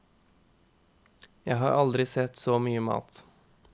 Jeg har aldri sett så mye mat.